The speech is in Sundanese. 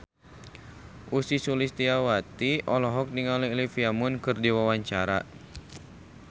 Ussy Sulistyawati olohok ningali Olivia Munn keur diwawancara